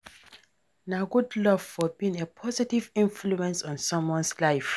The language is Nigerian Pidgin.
Na good love for being a positive influence on someone's life.